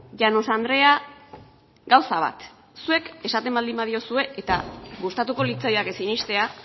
llanos andrea gauza bat zuek esaten baldin badiozue eta gustatuko litzaidake sinestea